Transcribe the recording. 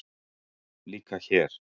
Líka hér.